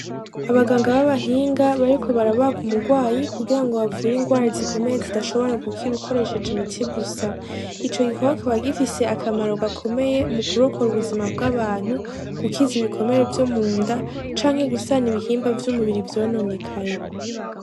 Abaganga babahinga bariko barabaga umugwayi kugirango bavure ingwara zikomeye zidashobora gukira ukoresheje imiti gusa, ico gikorwa kikaba gifise akamaro gakomeye mukurokora ubuzima bw'abantu gukiza, ibikomere vyomunda canke gusana ibihimba vyumubiri vyononekaye.